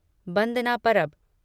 बंदना परब